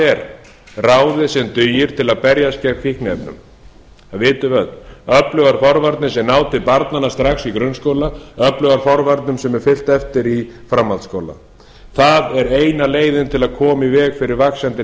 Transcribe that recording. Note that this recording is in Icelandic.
er ráðið sem dugir til að berjast gegn fíkniefnum það vitum við öll öflugar forvarnir sem ná til barnanna strax í grunnskóla öflugar forvarnir sem er fylgt eftir í framhaldsskóla það er eina leiðin til að koma í veg fyrir vaxandi